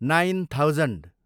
nine thousand